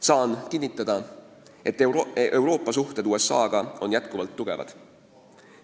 Saan kinnitada, et Euroopa suhted USA-ga on endiselt kindlad.